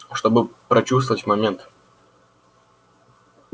чтобы прочувствовать момент